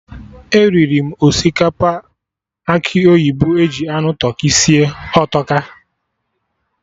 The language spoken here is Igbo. Eriri m osikapa akị oyibo eji anụ tụrkị sie, ọ tọka!